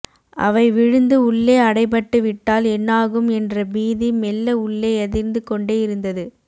அவை விழுந்து உள்ளே அடைபட்டு விட்டால் என்னாகும் என்ற பீதி மெல்ல உள்ளே அதிர்ந்துகொண்டெ இருந்தது